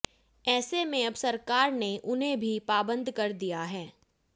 ऐसे में अब सरकार ने उन्हें भी पाबंद कर दिया है